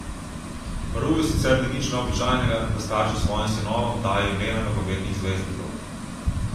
V Peruju sicer ni nič neobičajnega, da starši svojim sinovom dajejo imena nogometnih zvezdnikov.